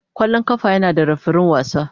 Kwallon kafa yana da refirin wasa.